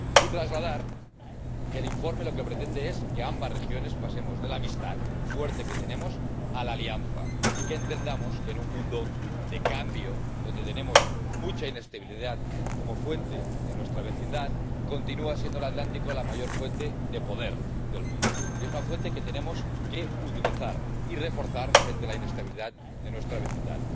Y trasladar que el informe lo que pretende es que ambas regiones pasemos de la amistad fuerte que tenemos a la alianza, y que entendamos que, en un mundo de cambio, donde tenemos mucha inestabilidad producto de nuestra vecindad, continúa siendo el Atlántico la mayor fuente de poder del mundo, y es una fuente que tenemos que utilizar y reforzar frente a la inestabilidad de nuestra vecindad.